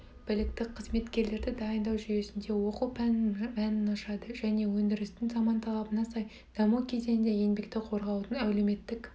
білікті қызметкерлерді дайындау жүйесінде оқу пәнінің мәнін ашады және өндірістің заман талабына сай даму кезеңінде еңбекті қорғаудың әлеуметтік